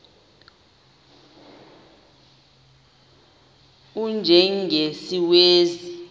u y njengesiwezi